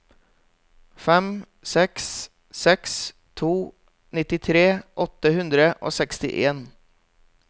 fem seks seks to nittitre åtte hundre og sekstien